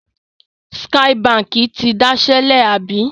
Skye Báńkì ti dasẹ́ lẹ̀, àbí?